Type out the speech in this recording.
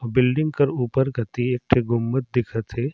अउ बिल्डिंग कर ऊपर कते एक ठन घुम्मत दिखत है।